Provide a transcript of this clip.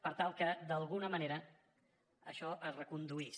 per tal que d’alguna manera això es reconduís